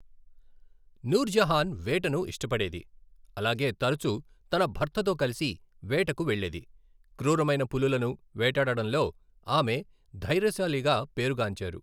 నూర్జహాన్ వేటను ఇష్టపడేది, అలాగే తరచూ తన భర్తతో కలిసి వేటకు వెళ్ళేది, క్రూరమైన పులులను వేటాడటంలో ఆమె ధైర్యశాలిగా పేరు గాంచారు.